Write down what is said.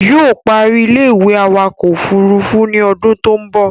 Yóò ó parí ilé-ìwé awakọ̀ ọkọ̀ òfurufú ní odún tó ń bọ̀